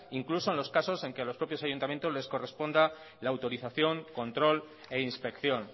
incluso en los casos en que los propios ayuntamientos les correspondan la autorización control e inspección